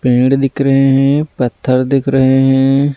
पेड़ दिख रहे हैं पत्थर दिख रहे हैं।